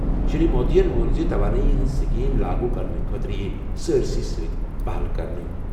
شری مودیَن ووٚن زِ توانٲیی ہٕنٛز سکیم لاگو کرنہٕ خٲطرٕ یِیہِ سٲرِسٕے سۭتۍ پہل کرنہٕ۔